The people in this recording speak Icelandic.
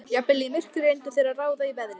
Jafnvel í myrkri reyndu þeir að ráða í veðrið.